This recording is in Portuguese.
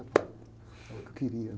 É o que eu queria.